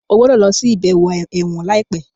o gbódò ló ṣe ibẹwo èwòn laipe!